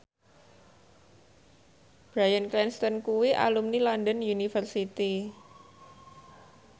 Bryan Cranston kuwi alumni London University